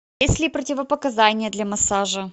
есть ли противопоказания для массажа